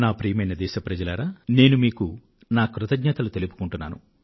ప్రియమైన నా దేశ వాసులారా నేను మీకు నా ధన్యవాదాలు తెలియజేస్తున్నాను